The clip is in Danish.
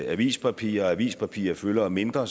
avispapir og avispapir fylder mindre